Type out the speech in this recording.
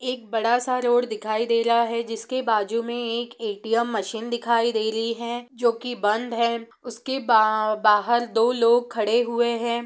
एक बड़ा सा रोड दिखाई दे ला है जिसके बाजु मै एक ए_टी_एम मशीन दिखाई दे ली है जो की बंद है उसके बाहल दो लोग खड़े हुए है।